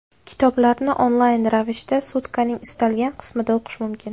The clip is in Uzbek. Kitoblarni onlayn ravishda sutkaning istalgan qismida o‘qish mumkin.